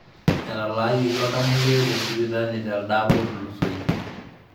Etaalayioki oltamoyiai te sipitali teldaapa otulusoyie.